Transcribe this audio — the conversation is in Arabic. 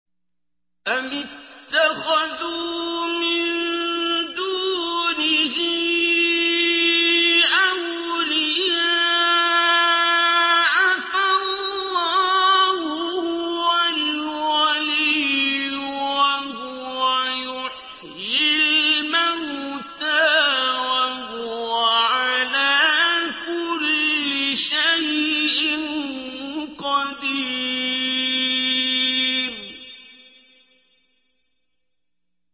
أَمِ اتَّخَذُوا مِن دُونِهِ أَوْلِيَاءَ ۖ فَاللَّهُ هُوَ الْوَلِيُّ وَهُوَ يُحْيِي الْمَوْتَىٰ وَهُوَ عَلَىٰ كُلِّ شَيْءٍ قَدِيرٌ